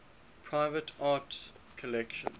private art collections